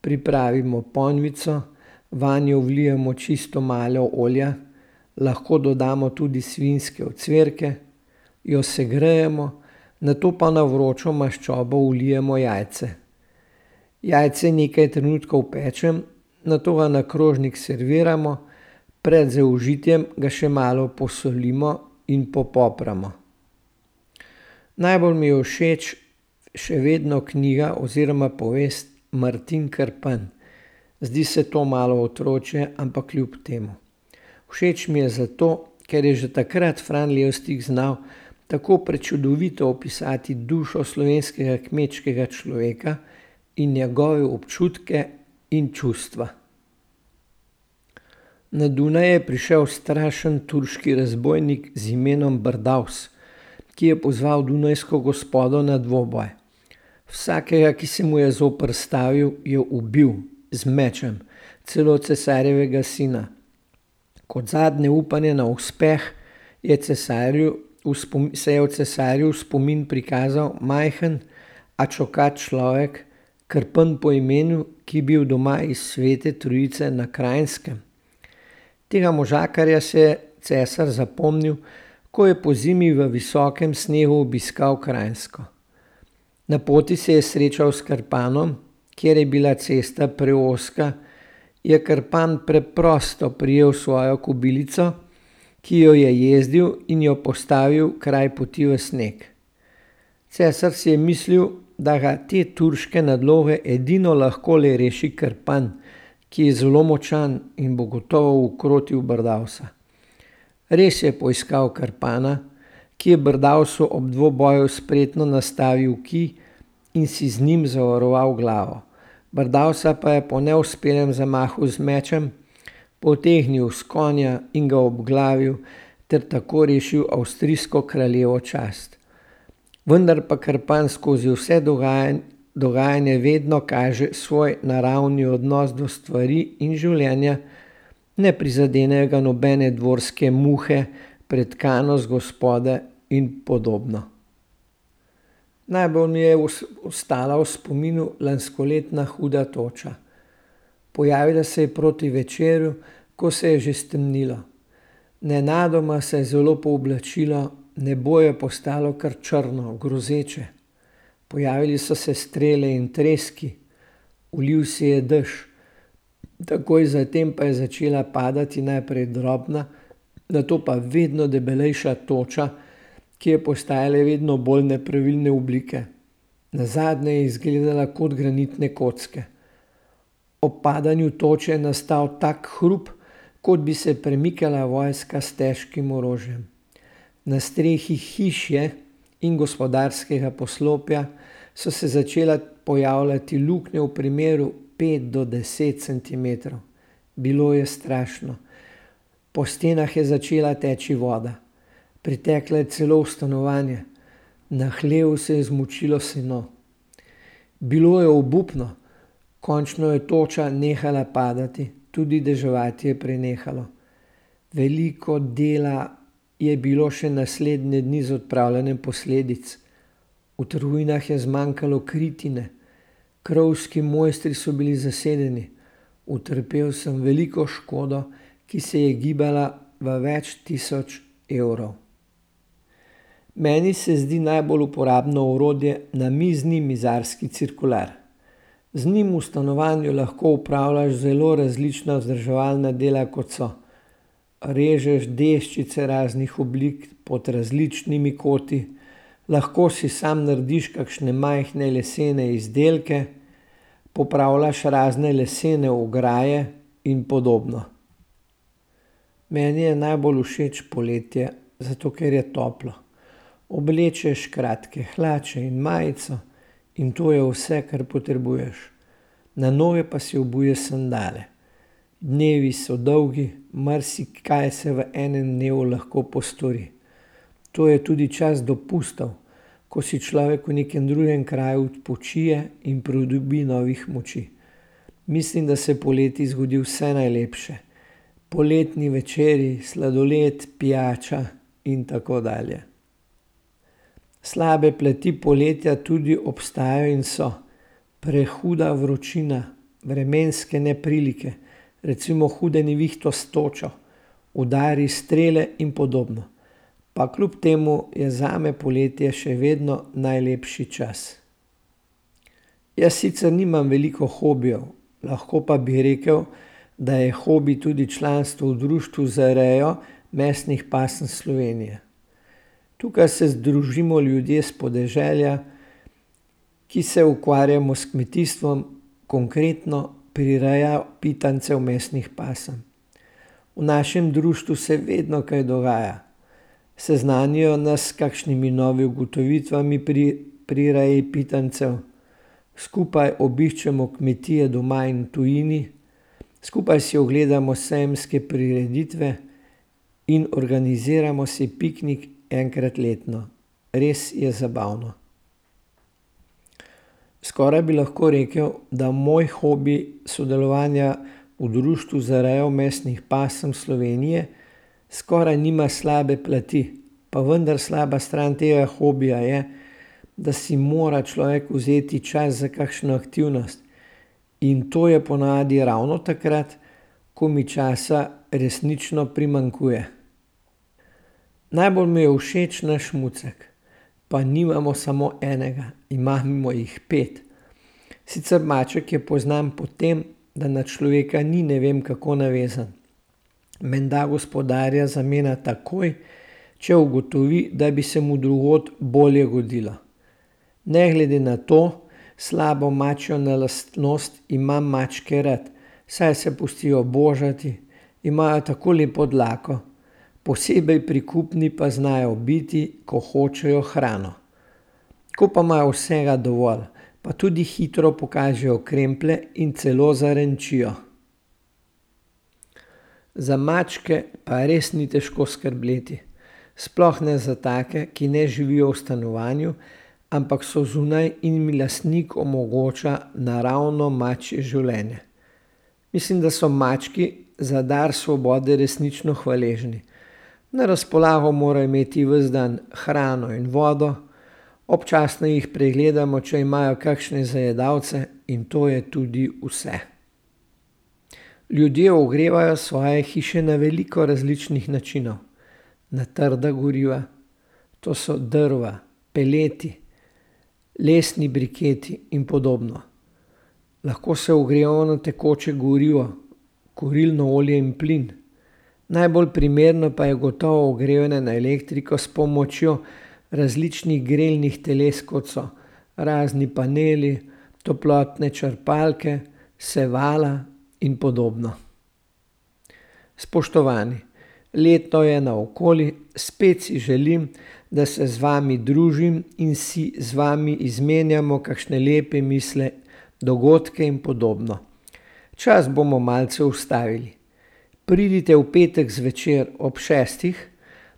Pripravimo ponvico, vanjo vlijemo čisto malo olja lahko dodamo tudi svinjske ocvirke, jo segrejemo, nato pa na vročo maščobo vlijemo jajce. Jajce nekaj trenutkov pečem, nato ga na krožnik serviramo, pred zaužitjem ga še malo posolimo in popopramo. Najbolj mi je všeč še vedno knjiga oziroma povest Martin Krpan. Zdi se to malo otročje, ampak kljub temu. Všeč mi je zato, ker je že takrat Fran Levstik znal tako prečudovito opisati dušo slovenskega kmečkega človeka in njegove občutke in čustva. Na Dunaj je prišel strašen turški razbojnik z imenom Brdavs, ki je pozval dunajsko gospoda na dvoboj. Vsakega, ki se mu je zoperstavil, je ubil z mečem. Celo cesarjevega sina. Kot zadnje upanje na uspeh je cesarju v se je cesarjev v spomin prikazal majhen, a čokat človek, Krpan po imenu, ki je bil doma iz Svete Trojice na Kranjskem. Tega možakarja se je cesar zapomnil, ko je pozimi v visokem snegu obiskal Kranjsko. Na poti se je srečal s Krpanom, ker je bila cesta preozka, je Krpan preprosto prijel svojo kobilico, ki jo je jezdil, in jo postavil kraj poti v sneg. Cesar si je mislil, da ga te turške nadloge edino lahko le reši Krpan, ki je zelo močan in bo gotovo ukrotil Brdavsa. Res je poiskal Krpana, ki je Brdavsu ob dvoboju spretno nastavil kij, in si z njim zavaroval glavo. Brdavsa pa je po neuspelem zamahu z mečem potegnil s konja in ga obglavil ter tako rešil avstrijsko kraljevo čast. Vendar pa Krpan skozi vse dogajanje vedno kaže svoj naravni odnos do stvari in življenja. Ne prizadenejo ga nobene dvorske muhe, pretkanost gospode in podobno. Najbolj mi je ostala v spominu lanskoletna huda toča. Pojavila se je proti večeru, ko se je že stemnilo. Nenadoma se je zelo pooblačilo, nebo je postalo kar črno, grozeče. Pojavili so se strele in treski. Ulil se je dež. Takoj zatem pa je začela padati najprej drobna, nato pa vedno debelejša toča, ki je postajala vedno bolj nepravilne oblike. Nazadnje je izgledala kot granitne kocke. Ob padanju toče je nastal tak hrup, kot bi se premikala vojska s težkim orožjem. Na strehi hiše in gospodarskega poslopja so se začele pojavljati luknje v premeru pet do deset centimetrov. Bilo je strašno. Po stenah je začela teči voda. Pritekla je celo v stanovanje. Na hlevu se je zmočilo seno. Bilo je obupno. Končno je toča nehala padati, tudi deževati je prenehalo. Veliko dela je bilo še naslednje dni z odpravljanjem posledic V Trujnah je zmanjkalo kritine, krovski mojstri so bili zasedeni. Utrpel sem veliko škodo, ki se je gibala v več tisoč evrov. Meni se zdi najbolj uporabno orodje namizni mizarski cirkular. Z njim v stanovanju lahko opravljaš zelo različna vzdrževalna dela, kot so, režeš deščice raznih oblik, pod različnimi koti. Lahko si sam narediš kakšne majhne lesene izdelke. Popravljaš razne lesene ograje in podobno. Meni je najbolj všeč poletje, zato ker je toplo. Oblečeš kratke hlače in majico in to je vse, kar potrebuješ. Na noge pa si obuješ sandale. Dnevi so dolgi, marsikaj se v enem dnevu lahko postori. To je tudi čas dopustov, ko si človek v nekem drugem kraju odpočije in pridobi novih moči. Mislim, da se poleti zgodi vse najlepše. Poletni večeri, sladoled, pijača in tako dalje. Slabe plati poletja tudi obstajajo in so prehuda vročina, vremenske neprilike, recimo hude nevihte s točo, udari strele in podobno. Pa kljub temu je zame poletje še vedno najlepši čas. Jaz sicer nimam veliko hobijev, lahko pa bi rekel, da je hobi tudi članstvo v Društvu za rejo mesnih pasem Slovenije. Tukaj se združimo ljudje s podeželja, ki se ukvarjamo s kmetijstvom, konkretno prireja pitancev mesnih pasem. V našem društvu se vedno kaj dogaja. Seznanijo nas s kakšnimi novimi ugotovitvami pri, pri reji pitancev. Skupaj obiščemo kmetije doma in v tujini. Skupaj si ogledamo sejemske prireditve in organiziramo si piknik enkrat letno. Res je zabavno. Skoraj bi lahko rekel, da moj hobi sodelovanja v Društvu za rejo mesnih pasem Slovenije skoraj nima slabe plati, pa vendar slaba stran tega hobija je, da si mora človek vzeti čas za kakšno aktivnost in to je ponavadi ravno takrat, ko mi časa resnično primanjkuje. Najbolj mi je všeč naš mucek. Pa nimamo samo enega, imamo jih pet. Sicer maček je poznan po tem, da na človeka ni, ne vem kako navezan. Menda gospodarja zamenja takoj, če ugotovi, da bi se mu drugod bolje godilo. Ne glede na to slabo mačjo na lastnost, imam mačke rad, saj se pustijo božati, imajo tako lepo dlako, posebej prikupni pa znajo biti, ko hočejo hrano. Ko pa imajo vsega dovolj, pa tudi hitro pokažejo kremplje in celo zarenčijo. Za mačke pa res ni težko skrbeti. Sploh ne za take, ki ne živijo v stanovanju, ampak so zunaj in jim lastnik omogoča naravno mačje življenje. Mislim, da so mački za dar svobode resnično hvaležni. Na razpolago morajo imeti ves dan hrano in vodo. Občasno jih pregledamo, če imajo kakšne zajedalce, in to je tudi vse. Ljudje ogrevajo svoje hiše na veliko različnih načinov. Na trda goriva, to so drva, peleti, lesni briketi in podobno. Lahko se ogrevajo na tekoče gorivo, kurilno olje in plin. Najbolj primerno pa je gotovo ogrevanje na elektriko s pomočjo različnih grelnih teles, kot so razni paneli, toplotne črpalke, sevala in podobno. Spoštovani, leto je naokoli. Spet si želim, da se z vami družim in si z vami izmenjamo kakšne lepe misli, dogodke in podobno. Čas bomo malce ustavili. Pridite v petek zvečer ob šestih,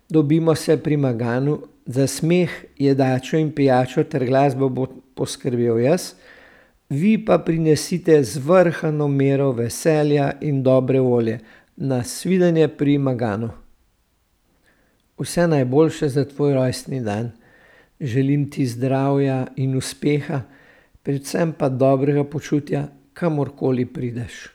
dobimo se pri Maganu. Za smeh, jedačo in pijačo ter glasbo bom poskrbel jaz, vi pa prinesite zvrhano mero veselja in dobre volje. Nasvidenje pri Maganu. Vse najboljše za tvoj rojstni dan. Želim ti zdravja in uspeha predvsem pa dobrega počutja, kamorkoli prideš.